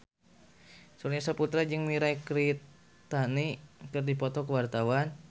Surya Saputra jeung Mirei Kiritani keur dipoto ku wartawan